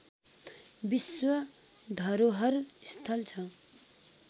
विश्व धरोहर स्थल छ